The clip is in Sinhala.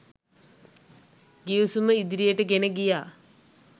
ගිවිසුම ඉදිරියට ගෙන ගියා.